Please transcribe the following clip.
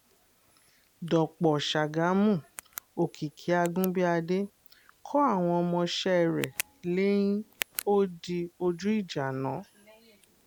dọ̀pọ̀ ṣàgámù òkìkí àgùnbíàdé kọ àwọn ọmọọṣẹ́ rẹ̀ lẹ́yìn ó di ojú ìjà náà